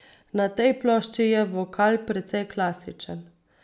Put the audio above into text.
Na tej plošči je vokal precej klasičen.